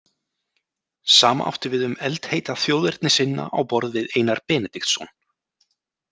Sama átti við um eldheita þjóðernissinna á borð við Einar Benediktsson.